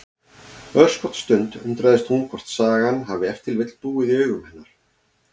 Örskotsstund undrast hún hvort sagan hafi ef til vill búið í augum hennar.